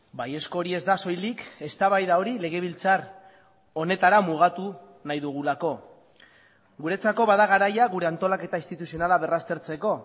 baiezko hori ez da soilik eztabaida hori legebiltzar honetara mugatu nahi dugulako guretzako bada garaia gure antolaketa instituzionala berraztertzeko